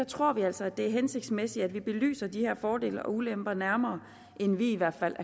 tror vi altså at det er hensigtsmæssigt at vi belyser de her fordele og ulemper nærmere inden i hvert fald